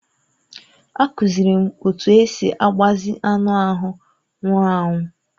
A kụziiri m otú e si agbazi anụ ahụ nwụrụ anwụ.